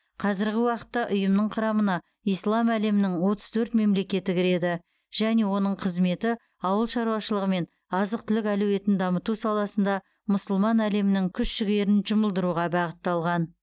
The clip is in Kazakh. қазіргі уақытта ұйымның құрамына ислам әлемінің отыз төрт мемлекеті кіреді және оның қызметі ауыл шаруашылығы мен азық түлік әлеуетін дамыту саласында мұсылман әлемінің күш жігерін жұмылдыруға бағытталған